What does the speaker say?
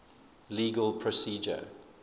legal procedure